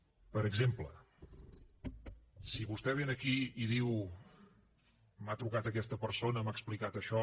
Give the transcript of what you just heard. per exemple si vostè ve aquí i diu m’ha trucat aquesta persona m’ha explicat això